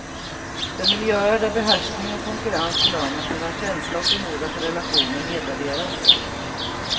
Det är miljöer där behärskning och konkurrens belönas medan känsla och förmåga till relationer nedvärderas.